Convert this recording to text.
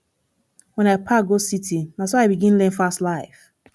wen i pack go city na so i begin learn fast life